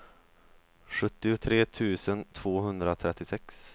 sjuttiotre tusen tvåhundratrettiosex